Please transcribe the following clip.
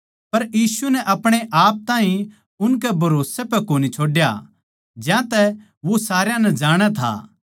पर यीशु नै अपणेआप ताहीं उनकै भरोसै पै कोनी छोड्या ज्यातै वो सारया नै जाणै था